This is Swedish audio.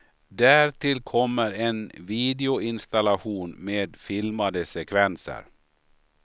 Därtill kommer en videoinstallation med filmade sekvenser.